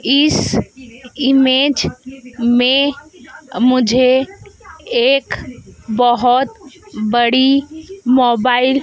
इस इमेज में मुझे एक बहोत बड़ी मोबाइल --